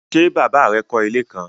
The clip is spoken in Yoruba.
Ṣe baba rẹ kọ ile kan?